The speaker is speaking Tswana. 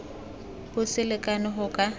bo se lekane go ka